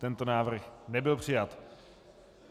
Tento návrh nebyl přijat.